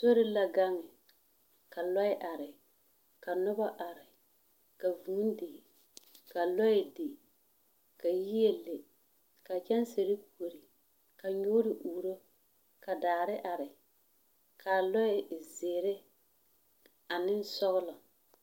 Sori la gaŋ, ka lɔɛ are, ka noba are, ka vūū di, ka yie di, ka lɔɛ di, ka kyɛnse di, ka nyoore uuro, ka daare are. Ka lɔɛ e zeere ane sɔglɔ.